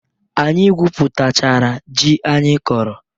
Anyị gwụpụtachara jị anyị kọrọ.